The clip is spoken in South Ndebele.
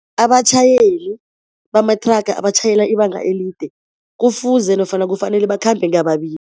Abatjhayeli bamathraga abatjhayela ibanga elide kufuze nofana kufanele bakhambe